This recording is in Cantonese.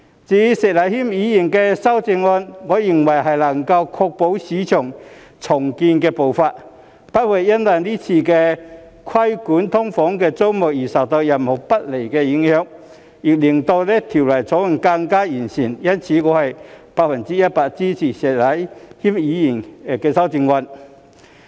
至於石禮謙議員的修正案，我認為能夠確保市區重建步伐不會因為今次規管"劏房"租務而受到任何不利影響，亦令《條例草案》更完善，因此我百分之一百支持石禮謙議員的修正案。